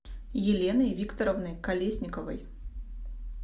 еленой викторовной колесниковой